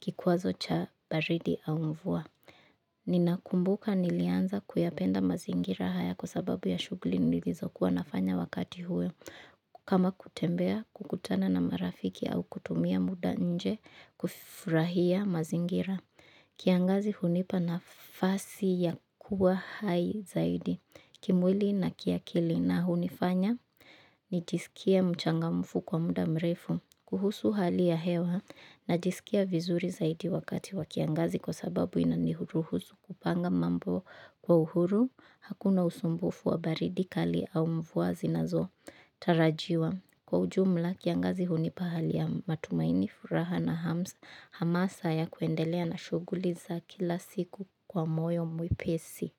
kikwazo cha baridi au mvua. Ninakumbuka nilianza kuyapenda mazingira haya kwa sababu ya shughuli nilizokuwa nafanya wakati huo kama kutembea, kukutana na marafiki au kutumia muda nje kufurahia mazingira kiangazi hunipa nafasi ya kuwa hai zaidi kimwili na kiakili na hunifanya nijisikie mchangamfu kwa muda mrefu. Kuhusu hali ya hewa najisikia vizuri zaidi wakati wa kiangazi kwa sababu inanihuruhusu kupanga mambo kwa uhuru, hakuna usumbufu wa baridi kali au mvua zinazotarajiwa. Kwa ujumla, kiangazi hunipa hali ya matumaini, furaha na hamsa, hamasa ya kuendelea na shughuli za kila siku kwa moyo mwepesi.